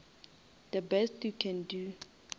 the best you can do